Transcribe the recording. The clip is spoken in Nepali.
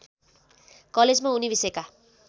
कलेजमा उनी विषयका